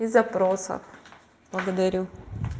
и запроса благодарю